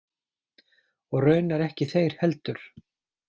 Og raunar ekki þeir heldur.